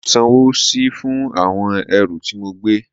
Mo sanwó síi fún àwọn ẹrù tí mo gbé